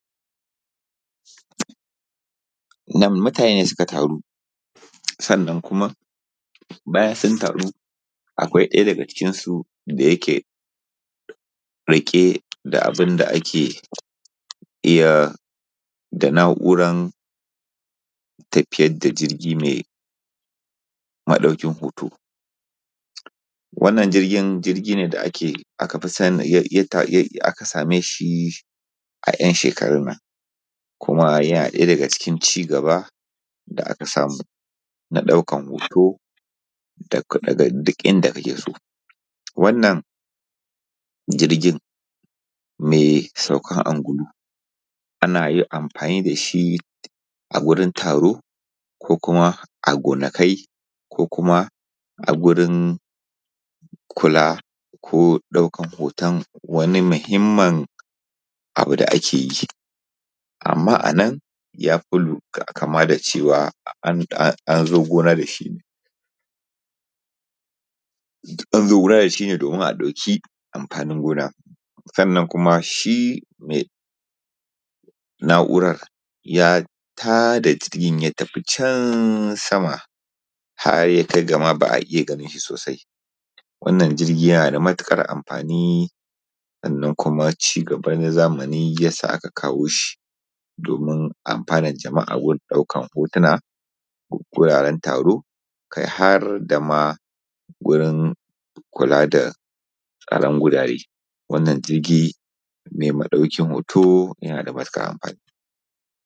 Nan mutane ne suka taru bayan sun taru akwai ɗaya daga cikinsu da yake rike da abu rike da abun da yake na'urar tafiyar da jirgi maia maɗaukin hoto wanda aka same shi a 'yan shekarun nan kuma yana ɗaya daga cikin ci gaba da aka samu na ɗaukar hoto da duk inda kake so. Wannan jirgin mai saukan angulu ana yin amsani da shi a gurin taro a gonakai ko kuka a gurin kula ko daukar hoton wani mahimminabu da kae yi. Amma a nan ya fi kama da cewa an zo gona da shi ne domin a ɗauki amfanin gona. Kuma shi mai na'urar ya ta da jirgin ya tafi can sama har ya kai ga ba iya ganin shi sosai wannan jirgi ynaa da matuƙar amfani kuuma wannan ci gaba na zamani ya sa aka kawo shi yana amfanna jama'a wajen ɗaukar hotona guraren taro kai har da ma wurin kula da anan gurare. Wanna jirgi mai madaukan hoto yana ta matukar amfani.